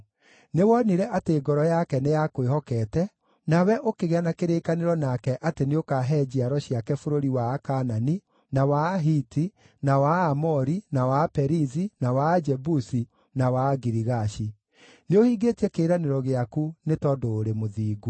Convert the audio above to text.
Nĩwonire atĩ ngoro yake nĩyakwĩhokete, nawe ũkĩgĩa na kĩrĩkanĩro nake atĩ nĩũkahe njiaro ciake bũrũri wa Akaanani, na wa Ahiti, na wa Aamori, na wa Aperizi, na wa Ajebusi, na wa Agirigashi. Nĩũhingĩtie kĩĩranĩro gĩaku nĩ tondũ ũrĩ mũthingu.